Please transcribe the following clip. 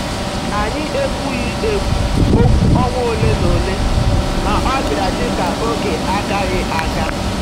Anyị ekwughị ekwu okwu ọnwa ole na ole, ma ọ bịara dị ka oge agaghị aga.